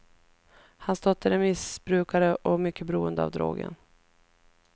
Hans dotter är missbrukare och mycket beroende av drogen.